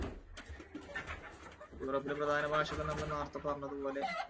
യൂറോപ്പിലെ പ്രധാന ഭാഷ ഒക്കെ നമ്മൾ നേരത്തെ പറഞ്ഞതുപോലെ,